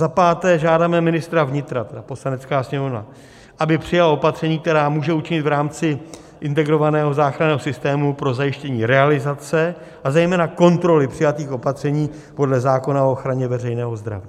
Za páté, žádáme ministra vnitra, tedy Poslanecká sněmovna, aby přijal opatření, která může učinit v rámci integrovaného záchranného systému pro zajištění realizace, a zejména kontroly přijatých opatření podle zákona o ochraně veřejného zdraví.